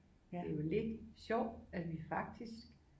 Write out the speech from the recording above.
Det er jo lidt sjovt at vi faktisk